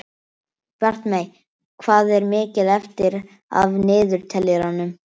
Bjartmey, hvað er mikið eftir af niðurteljaranum?